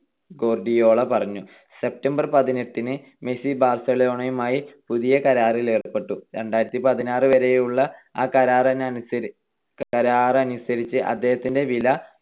Guardiola പറഞ്ഞു. September പതിനെട്ടിന് Messi ബാർസലോണയുമായി പുതിയ കരാറിൽ ഏർപ്പെട്ടു. രണ്ടായിരത്തിപതിനാറ്‍ വരെയുള്ള ആ കരാറനുസരിച്ച് അദ്ദേഹത്തിന്റെ വില